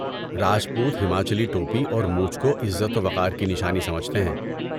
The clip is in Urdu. راجپوت ہماچلی ٹوپی اور مونچھ کو عزت و وقار کی نشانی سمجھتے ہیں۔